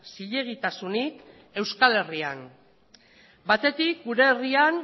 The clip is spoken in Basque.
zilegitasunik euskal herrian batetik gure herrian